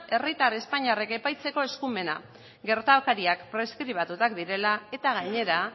herritar espainiarrek epaitzeko eskumena gertakariak preskribatuak direla eta gainera